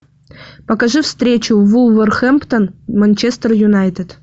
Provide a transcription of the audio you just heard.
покажи встречу вулверхэмптон манчестер юнайтед